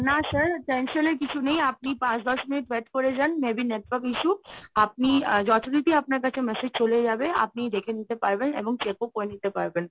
না sir tension এর কিছু নেই। আপনি পাঁচ দশ মিনিট wait করে যান, maybe network issue. আপনি যথারীতি আপনার কাছে message চলে যাবে। আপনি দেখে নিতে পারবেন এবং check ও করে নিতে পারবেন।